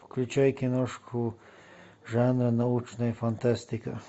включай киношку жанра научная фантастика